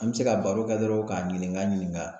An bɛ se ka baro kɛ dɔrɔn k'a ɲininka ɲininka.